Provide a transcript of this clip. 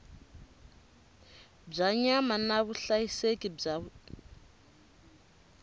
bya nyama na vuhlayiseki bya